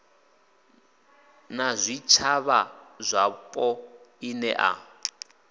na zwitshavha zwapo i nea